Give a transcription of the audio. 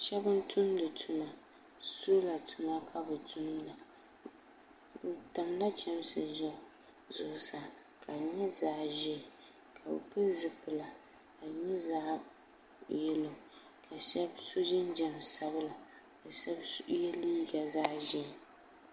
Sheba n tumdi tuma sola tuma kabi tumda bɛ tamla chemsi zuɣusaa ka di nyɛ zaɣa ʒee ka bɛ pili zipila ka di nyɛ zaɣa yelo ka so so jinjiɛm sabinli ka sheba ye liiga zaɣa ʒee.